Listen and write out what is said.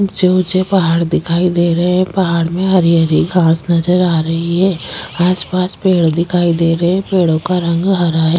ऊँचे - ऊँचे पहाड़ दिखाई दे रहे है पहाड़ में हरी हरी घास नजर आ रही है आसपास पेड़ दिखाई दे रहे है पेड़ों का रंग हरा है।